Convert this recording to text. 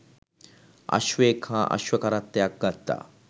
අශ්වයෙක් හා අශ්ව කරත්තයක් ගත්තා